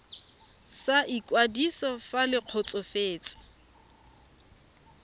sa ikwadiso fa le kgotsofetse